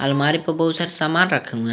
पर बहुत सारे सामान रखे हुए हैं।